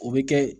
O bɛ kɛ